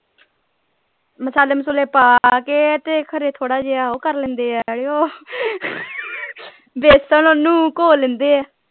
ਮਸਾਲੇ ਮਸੂਲੇ ਪਾ ਕੇ ਤੇ ਖ਼ਰੇ ਥੋੜਾ ਜੇਹਾ ਉਹ ਕਰ ਲੈਂਦੇ ਹੈ ਬੇਸਨ ਓਹਨੂੰ ਘੋਲ ਲੈਂਦੇ ਆ।